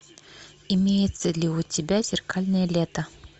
имеется ли у тебя зеркальное лето